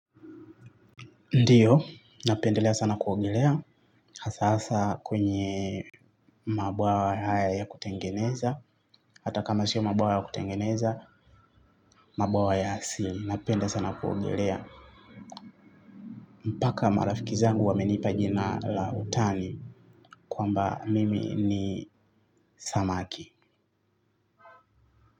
Ndiyo, napendelea sana kuogelea, hasa hasa kwenye mabwawa haya ya kutengeneza, hata kama sio mabwawa ya kutengeneza, mabwawa ya asili napenda sana kuogelea. Mpaka marafiki zangu wamenipa jina la utani, kwamba mimi ni samaki.